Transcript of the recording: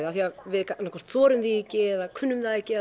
af því að við þorum því ekki eða kunnum það ekki